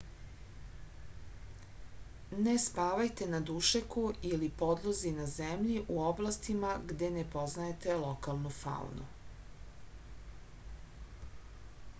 ne spavajte na dušeku ili podlozi na zemlji u oblastima gde ne poznajete lokalnu faunu